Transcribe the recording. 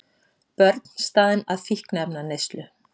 Börn staðin að fíkniefnaneyslu